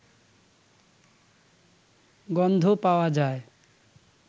গন্ধ পাওয়া যায়